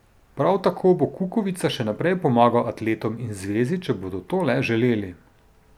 Prav tako bo Kukovica še naprej pomagal atletom in zvezi, če bodo to le želeli.